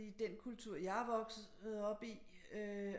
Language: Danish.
I den kultur jeg er vokset op i øh